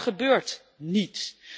Maar dat gebeurt niet.